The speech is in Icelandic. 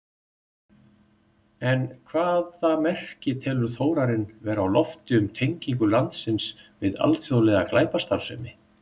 En hvaða merki telur Þórarinn vera á lofti um tengingu landsins við alþjóðlega glæpastarfsemi?